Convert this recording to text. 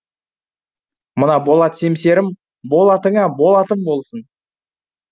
мына болат семсерім болатыңа болатым болсын